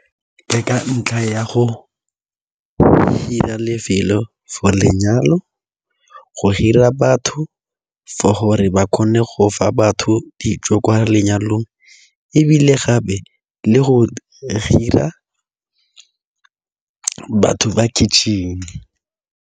Ke ka ntlha ya go hira lefelo for lenyalo, go hira batho for gore ba kgone go fa batho dijo kwa lenyalong ebile gape le go hira batho ba kitchen-e.